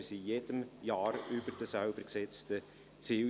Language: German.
Wir lagen in jedem Jahr über den selbst gesetzten Zielen.